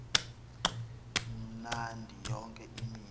mnandi yonke imihla